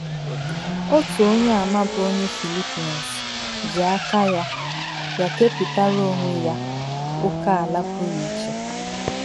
Otu Onyeàmà bụ́ onye Philippines ji aka ya ya kepụtara onwe ya ókèala pụrụ iche.